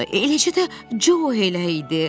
Eləcə də Co elə idi.